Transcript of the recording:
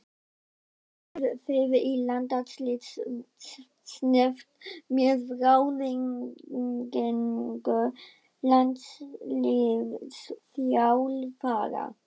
Ákveðið þið í landsliðsnefnd með ráðningu landsliðsþjálfara?